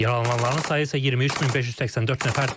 Yaralananların sayı isə 23584 nəfərdir.